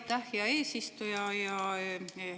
Aitäh, hea eesistuja!